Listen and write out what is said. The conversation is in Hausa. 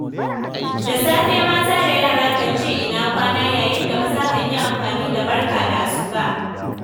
Da safe mata da yara kan ce 'ina kwana', yayin da maza kan yi amfani da 'barka da asuba'.